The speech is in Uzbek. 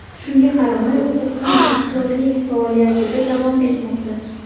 Shunga qaramay, u qizg‘in aktyorlik faoliyatida davom etmoqda.